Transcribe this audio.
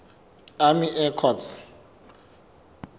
army air corps